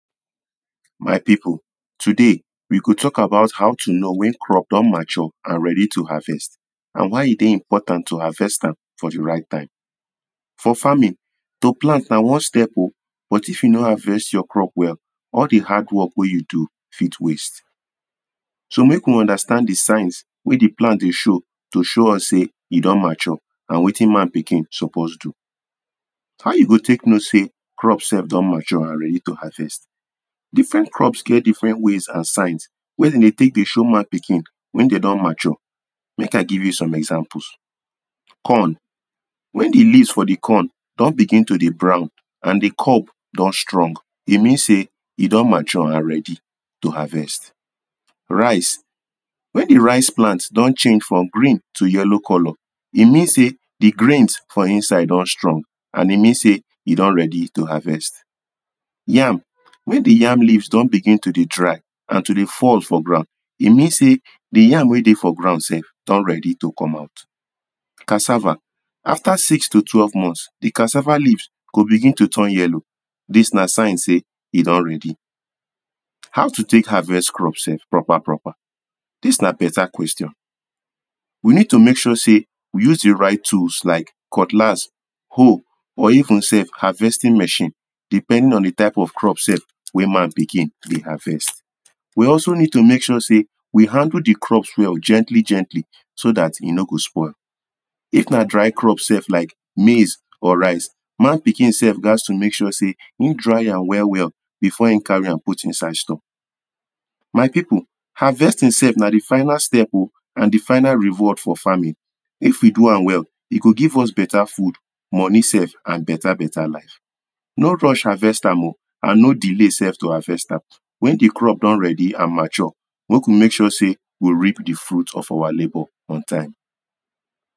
my people today we go talk about how to know when crop don mature and ready to harvest and why e deh important to harvest am for the right time for farming to plant nah one step o but if you no harvest your crop well all the hard work weh you do fit waste so make we understand the signs weh the plant deh show to show us say e don mature and wetin man pikin suppose do how you go take know say crop sef don mature and ready to harvest different crops get different ways and signs weh them deh take deh show man pikin when them don mature make i give you some exanples corn when the leaves for the corn don begin to the brown and the corp don don strong e mean say e don mature and ready to harvest rice when the rice plant don change from green to yellow colour e mean say the grins for inside don strong and e mean say e don ready to harvest yam when the yam leaves don begin to deh dry and to deh fall for ground e mean say the yam weh deh for ground sef don ready to come out cassava after six to twelve months the cassava leaves go begin to turn yellow this nah sign say e don ready how to take harvest crops sef proper proper this nah better question we need to make sure say we use the right tools like cutlass hoe or even sef harvesting machine depending on the type of crop sef weh man pikin deh harvest we also need to make sure say we handle the crops well gently gently so that e no go spoil if nah dry crop sef like maize or rice man pikin sef gaz to make sure say him dry am well well before him carry am put inside store my people harvesting sef nah the final step o and the final reward for farming if we do am well e go give us better food money sef and better better life no rush harvest am o and no delay sef to harvest am when the crop don ready and mature make we make sure say we reap the fruit of our labour on time